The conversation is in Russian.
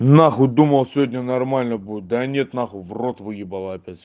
нахуй думал сегодня нормально будет да нет нахуй в рот выебала опять